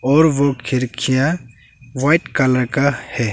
और वो खिड़कियां व्हाइट कलर का है।